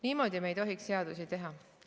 Niimoodi me ei tohiks seadusi teha.